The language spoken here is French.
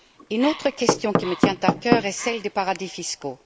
Une autre question qui me tient à cœur est celle des paradis fiscaux.